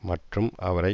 மற்றும் அவரை